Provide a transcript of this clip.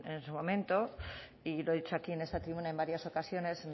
en su momento y lo he dicho aquí en esta tribuna en varias ocasiones